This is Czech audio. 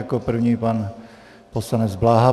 Jako první pan poslanec Bláha.